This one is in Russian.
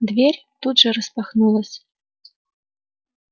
дверь тут же распахнулась